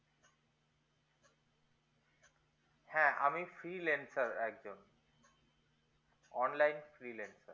হ্যা আমি free lancer একজন online free lancer